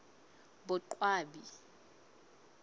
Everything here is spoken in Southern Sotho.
boqwabi